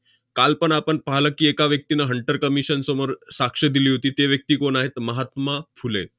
कालपण आपण पाहले की, एका व्यक्तीनं hunter commission समोर साक्ष दिली होती, ती व्यक्ती कोण आहे? 'महात्मा फुले'.